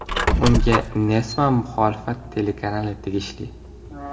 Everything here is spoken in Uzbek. Unga Nessma muxolifat telekanali tegishli.